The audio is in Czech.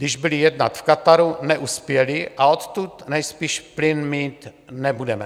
Když byli jednat v Kataru, neuspěli a odtud nejspíš plyn mít nebudeme.